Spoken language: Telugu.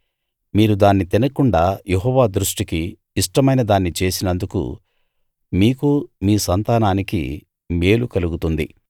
మీరు దాన్ని తినకుండా యెహోవా దృష్టికి ఇష్టమైనదాన్ని చేసినందుకు మీకు మీ సంతానానికి మేలు కలుగుతుంది